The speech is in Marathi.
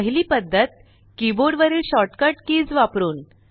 पहिली पद्धत कीबोर्ड वरील शॉर्ट कट कीज वापरुन